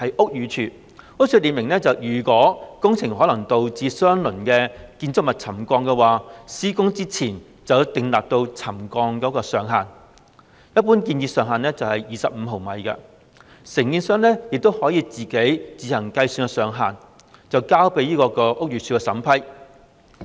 屋宇署列明，如工程可能導致相鄰建築物沉降，施工前要擬定可容許的沉降上限，一般建議上限為25毫米，而承建商亦可自行計算上限，再交由屋宇署審批。